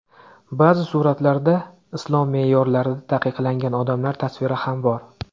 Ba’zi suratlarda islom me’yorlarida taqiqlangan odamlar tasviri ham bor.